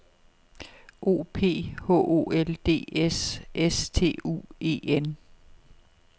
O P H O L D S S T U E N